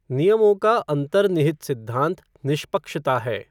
नियमों का अंतर्निहित सिद्धांत निष्पक्षता है।